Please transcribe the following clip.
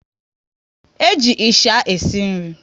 E ji ịsha esi nri